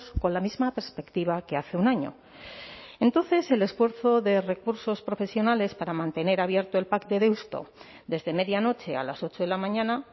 con la misma perspectiva que hace un año entonces el esfuerzo de recursos profesionales para mantener abierto el pac de deusto desde medianoche a las ocho de la mañana